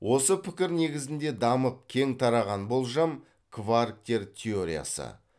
осы пікір негізінде дамып кең тараған болжам кварктер теориясы